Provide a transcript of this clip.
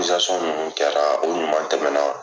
Zasɔn minnu kɛra o ɲuman tɛmɛna